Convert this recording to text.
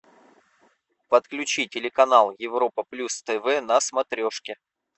подключи телеканал европа плюс тв на смотрешке